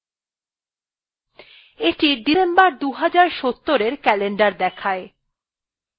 এইটি december ২০৭০এর calendar দেখায়